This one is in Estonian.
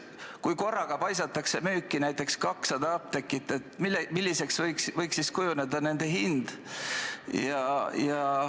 Kui korraga paisatakse müüki näiteks 200 apteeki, milliseks võiks siis kujuneda nende hind?